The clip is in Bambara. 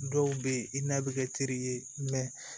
Dɔw bɛ yen i n'a bɛ kɛ teri ye